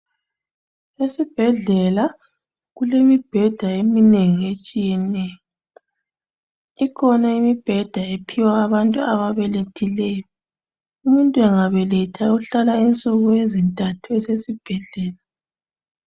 Esibhedlela kulemibheda eminengi etshiyeneyo. Ikhona imibheda ephiwa abantu ababelethileyo. Umuntu engabeletha uhlala insuku ezintathu esesibhedlela